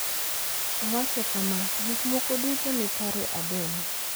Owacho kama: “Gik moko duto ni kare Aden.